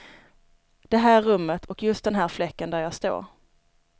Det här rummet och just den här fläcken där jag står.